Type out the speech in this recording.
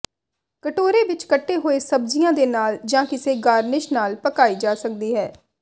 ਕਟੋਰੇ ਵਿੱਚ ਕੱਟੇ ਹੋਏ ਸਬਜ਼ੀਆਂ ਦੇ ਨਾਲ ਜਾਂ ਕਿਸੇ ਗਾਰਨਿਸ਼ ਨਾਲ ਪਕਾਈ ਜਾ ਸਕਦੀ ਹੈ